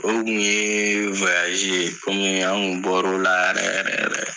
Olu tun yee ye, komii an tun bɔr'o la yɛrɛ yɛrɛ yɛrɛ.